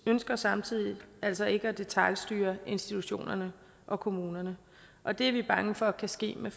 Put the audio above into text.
ønsker samtidig altså ikke at detailstyre institutionerne og kommunerne og det er vi bange for kan ske med